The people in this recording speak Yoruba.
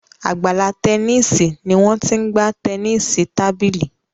Àgbàlá Tẹníìsì ní Wón t'in gbà Tẹníìsì tábìlì.